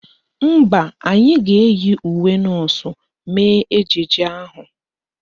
Mba, anyị ga-eyi uwe nọọsụ mee ejije ahụ